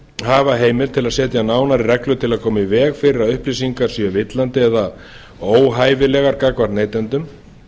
hafa heimild til að setja nánari reglur til að koma í veg fyrir að upplýsingar séu villandi eða óhæfilegar gagnvart neytendum